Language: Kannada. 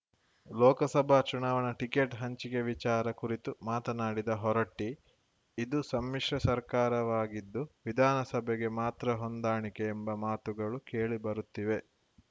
ಲೋಕಸಭಾ ಚುನಾವಣಾ ಟಿಕೆಟ್‌ ಹಂಚಿಕೆ ವಿಚಾರ ಕುರಿತು ಮಾತನಾಡಿದ ಹೊರಟ್ಟಿ ಇದು ಸಮ್ಮಿಶ್ರ ಸರ್ಕಾರವಾಗಿದ್ದು ವಿಧಾನಸಭೆಗೆ ಮಾತ್ರ ಹೊಂದಾಣಿಕೆ ಎಂಬ ಮಾತುಗಳು ಕೇಳಿ ಬರುತ್ತಿವೆ